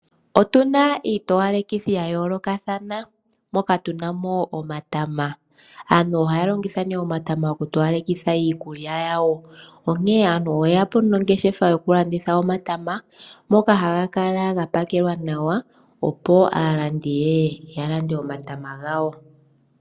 Otuna iitowalekithi ya yoolokathana moka tu namo omatama, aantu ohaya longitha nee gwoku towalekitha iikulya yawo, onkene aantu oye yapo nongeshefa yoku landitha omatama moka ga pakelwa nawa opo aalandi yeye ya lande omatama gawo.